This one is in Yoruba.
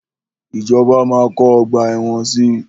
Ìjọba máa kọ́ ọgbà ẹ̀wọ̀n si.